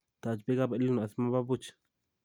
Taach beekab EL Nino asi maba buuch